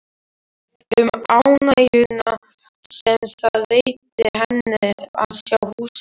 Um ánægjuna sem það veitti henni að sjá húsið.